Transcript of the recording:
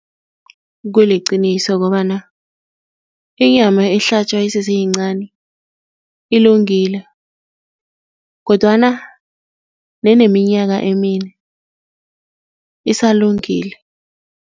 Kuliqiniso kobana inyama ehlatjwa iseseyincani ilungile kodwana neneminyaka emine isalungile.